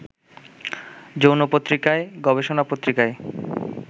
যৌনপত্রিকায়, গবেষণাপত্রিকায়